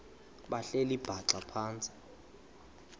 behleli bhaxa phantsi